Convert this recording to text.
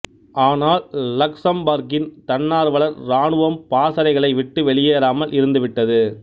ஆனால் லக்சம்பர்கின் தன்னார்வலர் ராணுவம் பாசறைகளை விட்டு வெளியேறாமல் இருந்து விட்டது